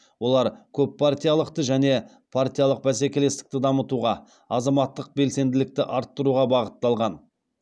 олар көппартиялылықты және партиялық бәсекелестікті дамытуға азаматтық белсенділікті арттыруға бағытталған